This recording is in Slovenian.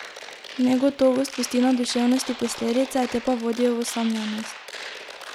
Negotovost pusti na duševnosti posledice, te pa vodijo v osamljenost.